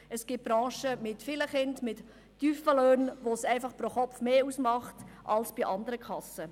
Es gibt Branchen mit vielen Kindern mit tiefen Löhnen, bei welchen es pro Kopf mehr ausmacht als bei andern Kassen.